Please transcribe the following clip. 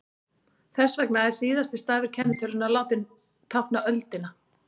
Þess vegna er síðasti stafur kennitölunnar látinn tákna öldina.